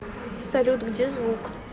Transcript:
салют где звук